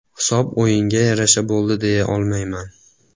Hisob o‘yinga yarasha bo‘ldi deya olmayman.